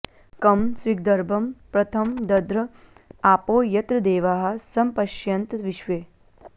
कं स्विद्गर्भं प्रथमं दध्र आपो यत्र देवाः समपश्यन्त विश्वे